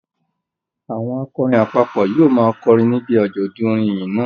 Àwọn akọrin àpapọ̀ yóò máa kọrin níbi àjọ̀dún orin ìyìn náà